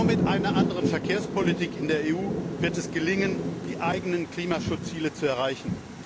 Nur mit einer anderen Verkehrspolitik in der EU wird es gelingen, die eigenen Klimaschutzziele zu erreichen.